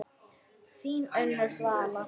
Þín Unnur Svala.